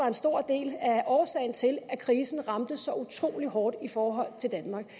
en stor del af årsagen til at krisen ramte så utrolig hårdt i forhold til danmark